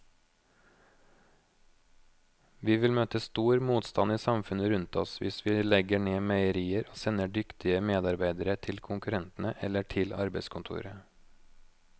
Vi vil møte stor motstand i samfunnet rundt oss hvis vi legger ned meierier og sender dyktige medarbeidere til konkurrentene eller til arbeidskontoret.